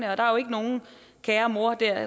er jo ikke nogen kære mor der